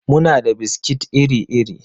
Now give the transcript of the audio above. Muna da biskit iri-iri.